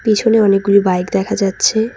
পিছনে অনেকগুলো বাইক দেখা যাচ্ছে।